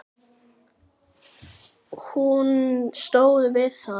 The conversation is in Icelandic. Hún stóð við það!